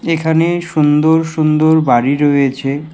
এখানে সুন্দর সুন্দর বাড়ি রয়েছে।